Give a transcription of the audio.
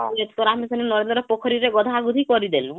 ନରେନ୍ଦ୍ର ପୋଖରୀ ରେ ଗଧାଁ ଗୁଧି କରିଦେନୁ